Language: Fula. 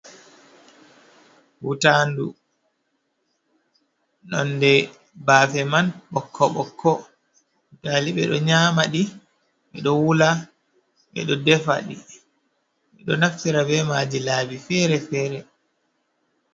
Wutaandu, nonnde bafe man ɓokko- ɓokko, butali ɓe do nyaamaɗi, ɓeɗo wula ɓe ɗo defaɗi ɓeɗo naftira bee maji laabi fere-fere.